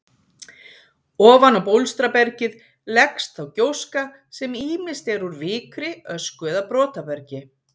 Ofan á bólstrabergið leggst þá gjóska sem ýmist er úr vikri, ösku eða brotabergi.